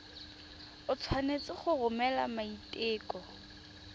o tshwanetse go romela maiteko